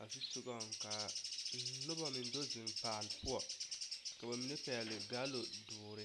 a zu sogaŋ ka noba meŋ do zeŋ paale poɔ ka ba mine pɛgle gaalo doɔre.